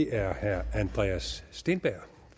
er herre andreas steenberg